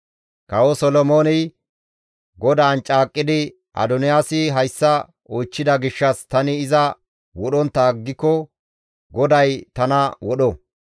Kawo Solomooney GODAAN caaqqidi, «Adoniyaasi hayssa oychchida gishshas tani iza wodhontta aggiko GODAY tana wodho!